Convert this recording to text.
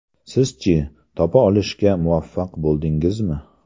Siz-chi, topa olishga muvaffaq bo‘ldingizmi?